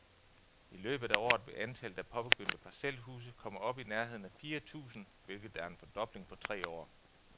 I løbet af året vil antallet af påbegyndte parcelhuse komme op i nærheden af fire tusind, hvilket er en fordobling på tre år.